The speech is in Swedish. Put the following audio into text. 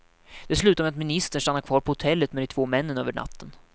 Det slutade med att ministern stannade kvar på hotellet med de två männen över natten.